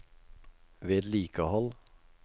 vedlikehold